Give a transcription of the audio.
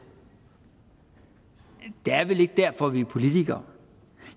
det er vel ikke derfor vi er politikere